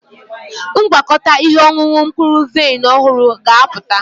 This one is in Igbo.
Ngwakọta ihe ọṅụṅụ mkpụrụ vaịn ọhụrụ ga-apụta.